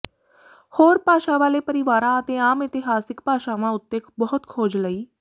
ਹੋਰ ਭਾਸ਼ਾ ਵਾਲੇ ਪਰਿਵਾਰਾਂ ਅਤੇ ਆਮ ਇਤਿਹਾਸਿਕ ਭਾਸ਼ਾਵਾਂ ਉੱਤੇ ਬਹੁਤ ਖੋਜ ਲਈ